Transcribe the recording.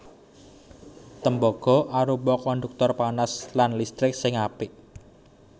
Tembaga arupa konduktor panas lan listrik sing apik